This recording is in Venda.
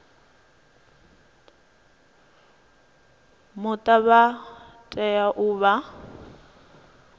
muta vha tea u vha